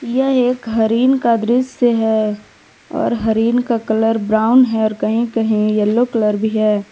यह एक हरिन का दृश्य है और हरिन का कलर ब्राउन है कहीं कहीं येलो कलर भी है।